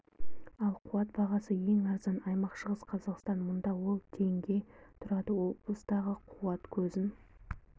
ал қуат бағасы ең арзан аймақ шығыс қазақстан мұнда ол теңге тұрады облыстағы қуат көзін